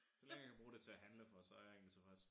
Så længe jeg kan bruge det til at handle for så jeg egentlig tilfreds